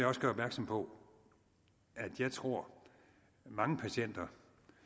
også gøre opmærksom på at jeg tror at mange patienter